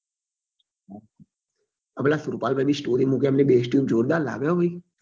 આ પેલા સુરપાલ ભાઈ બી story મુકે એમની base tube જોરદાર લાગે હો ભાઈ